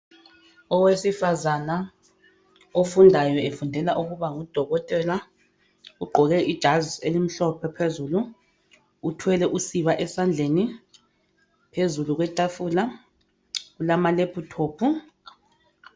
Owesifazana ofundayo efundela ukuba ngudokotela ugqoke ijazi elimhlophe phezulu uthwele usiba esandleni. Phezulu kwetafula kulamalephuthophu.